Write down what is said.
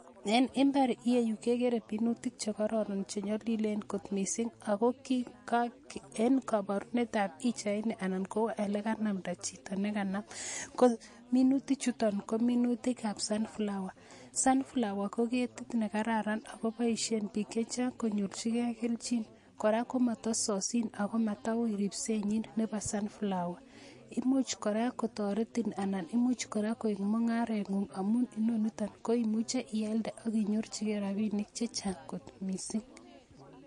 En imbar ireyu kekere minutik che kororon che nyolilen kot mising ago, en koporunet ab pichaini ala olekanamnda chito nekanam ko minutichuto ko minutik ab sunflower sunflower ko ketit nekararan akoboisien piik chechang konyorchike kelchin. Kora komotososin ago mataui ripsenyin, nebo sunflower. Ako imuch kora kotoretin anan imuch kora koik mungarangung, amun inoniton, koimuche ialde aginyorchige rapinik chechang' ng'ot mising.